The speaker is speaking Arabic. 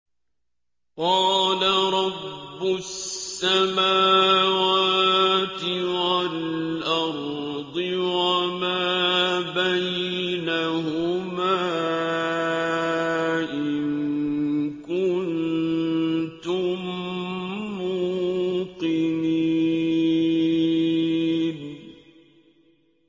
قَالَ رَبُّ السَّمَاوَاتِ وَالْأَرْضِ وَمَا بَيْنَهُمَا ۖ إِن كُنتُم مُّوقِنِينَ